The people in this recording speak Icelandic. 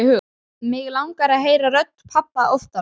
Mig langar að heyra rödd pabba oftar.